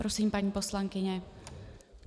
Prosím, paní poslankyně.